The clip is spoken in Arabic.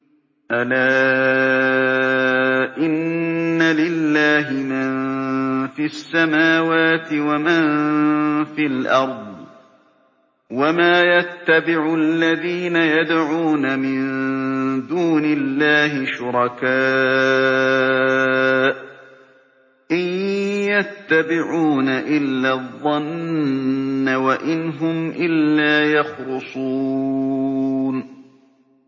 أَلَا إِنَّ لِلَّهِ مَن فِي السَّمَاوَاتِ وَمَن فِي الْأَرْضِ ۗ وَمَا يَتَّبِعُ الَّذِينَ يَدْعُونَ مِن دُونِ اللَّهِ شُرَكَاءَ ۚ إِن يَتَّبِعُونَ إِلَّا الظَّنَّ وَإِنْ هُمْ إِلَّا يَخْرُصُونَ